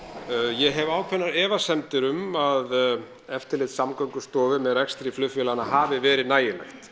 ég hef ákveðnar efasemdir um að eftirlit Samgöngustofu með rekstri flugfélaganna hafi verið nægilegt